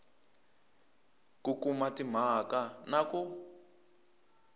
ku kuma timhaka na ku